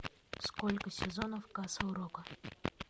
сколько сезонов касл рока